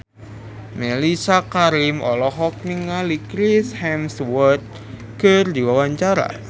Mellisa Karim olohok ningali Chris Hemsworth keur diwawancara